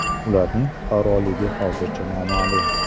Ularning fuqaroligi hozircha noma’lum.